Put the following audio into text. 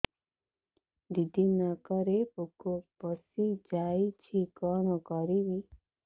ଦିଦି କାନରେ ପୋକ ପଶିଯାଇଛି କଣ କରିଵି